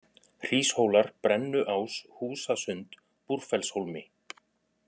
Hríshólar, Brennuás, Húsasund, Búrfellshólmi